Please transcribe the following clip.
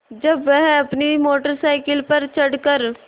जब वह अपनी मोटर साइकिल पर चढ़ कर